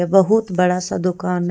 बहुत बड़ा सा दुकान--